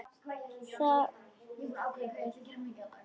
Þá er hann hetja.